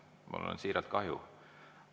Mul on siiralt kahju.